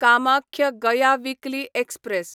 Kamakhya Gaya weekly express